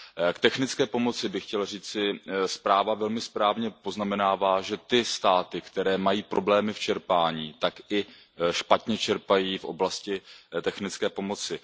K technické pomoci bych chtěl říci, zpráva velmi správně poznamenává, že ty státy, které mají problémy v čerpání, tak i špatně čerpají v oblasti technické pomoci.